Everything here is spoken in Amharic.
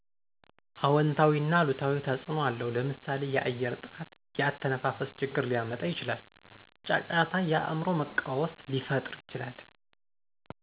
አውንታዊና አሉታዊ ተፅዕኖ አለው ለምሳሌ የአየር ጥራት የአተነፋፈስ ችግር ሊያመጣ ይችላል። ጫጫታ የአእምሮ መቃወስ ሊፈጥር ይችላል።